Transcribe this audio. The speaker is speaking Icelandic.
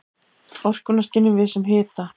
Orkuna skynjum við sem hita.